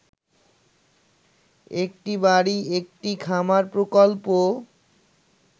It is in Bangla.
একটি বাড়ি একটি খামার প্রকল্প